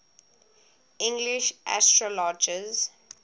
english astrologers